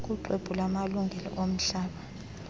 kuxwebhu lwamalungelo omhlaba